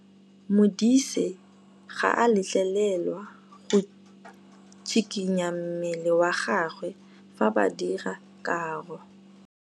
Modise ga a letlelelwa go tshikinya mmele wa gagwe fa ba dira karô.